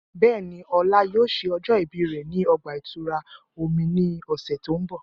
Bẹẹni, Ola yoo ṣe ọjọ ibi rẹ ni ọgba-itura omi ni ọsẹ ti n bo.